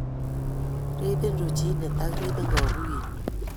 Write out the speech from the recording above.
Riibin ruchiinet, ak riibin kaguiyet